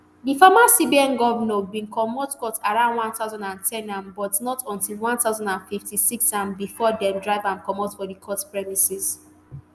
di former cbn govnor bin comot court around one thousand and ten am but not until one thousand and fifty-sixam bifor dem drive am comot for di court premises